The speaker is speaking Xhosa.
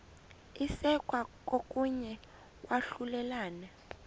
isekwa kokuya kwahlulelana